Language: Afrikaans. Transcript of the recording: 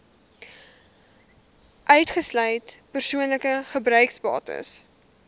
uitgesluit persoonlike gebruiksbates